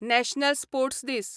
national sports दीस